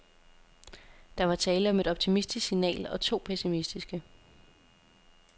Der var tale om et optimistisk signal og to pessimistiske.